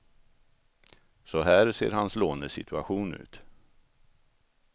Så här ser hans lånesituation ut.